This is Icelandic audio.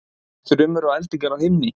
Þrumur og eldingar á himni